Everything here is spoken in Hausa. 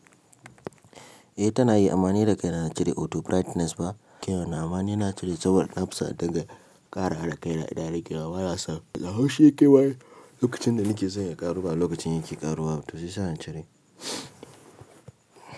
Eh tanayi ama ni da kaina na cire auto brigthness ba kewa na amani na cire saboda nafison indinga ƙarawa da kai na idan ya rage banson da haushi ya kewa lokacin da nike son ya ƙaru ba lokacin yake ƙaruwa to shiyasa na cire.